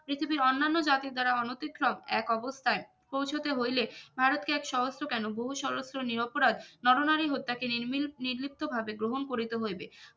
পৃথিবীর অন্যান্য জাতির দ্বারা অনতিতকক এক অবস্থায়ে পৌঁছাতে হইলে ভারতকে এক সহস্ত্র কেনো বহু সহস্ত্র নির অপরাধ নর নারী হত্যা কে নির্মীল নির্বৃত্ত ভাবে গ্রহন করিতে হইবে